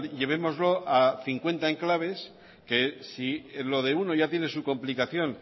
llevémoslo a cincuenta enclaves que si lo de uno ya tiene su complicación